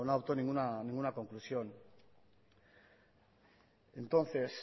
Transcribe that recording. adoptó ninguna conclusión entonces